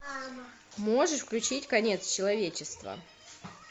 можешь включить конец человечества